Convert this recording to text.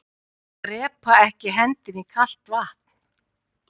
Að drepaa ekki hendinni í kalt vatn